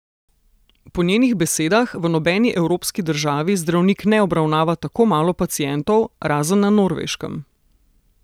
Po njenih besedah v nobeni evropski državi zdravnik ne obravnava tako malo pacientov, razen na Norveškem.